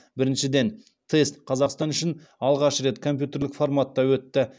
біріншіден тест қазақстан үшін алғаш рет компьютерлік форматта өтті